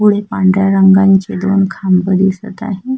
पुढे पांढऱ्या रंगाचे दोन खांब दिसत आहे.